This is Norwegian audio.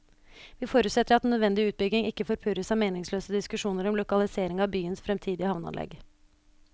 Vi forutsetter at den nødvendige utbygging ikke forpurres av meningsløse diskusjoner om lokalisering av byens fremtidige havneanlegg.